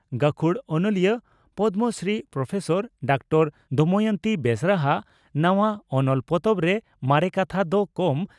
ᱜᱟᱹᱠᱷᱩᱲ ᱚᱱᱚᱞᱤᱭᱟᱹ Padmashri professor doctor Damayanti Besra ᱦᱟᱜ ᱱᱟᱣᱟ ᱚᱱᱚᱞ ᱯᱚᱛᱚᱵ ᱨᱮ ᱢᱟᱨᱮ ᱠᱟᱛᱷᱟ ᱫᱚ ᱠᱚᱢ